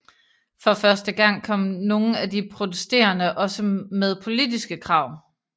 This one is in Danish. For første gang kom nogle af de protesterende også med politiske krav